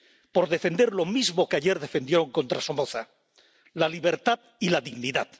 por defender lo mismo que ayer defendieron contra Somoza la libertad y la dignidad.